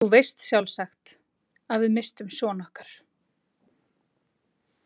Þú veist sjálfsagt að við misstum son okkar.